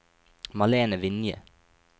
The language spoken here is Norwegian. Malene Vinje